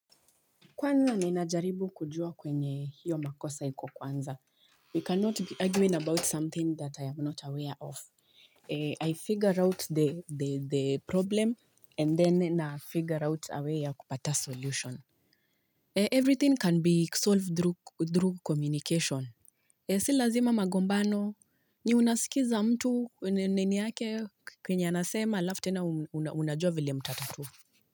Kwanza ninajaribu kujua kwenye hiyo makosa iko kwanza. We cannot be arguing about something that I am not aware of. I figure out the problem and then na figure out a way ya kupata solution. Everything can be solved through communication. Si lazima magombano. Ni unasikiza mtu nini yake kenye anasema alafu tena unajua vile mtatatua.